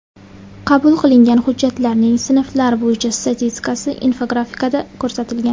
Qabul qilingan hujjatlarning sinflar bo‘yicha statistikasi infografikada ko‘rsatilgan.